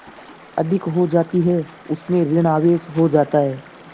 अधिक हो जाती है उसमें ॠण आवेश हो जाता है